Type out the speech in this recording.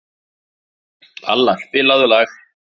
Alla, spilaðu lag.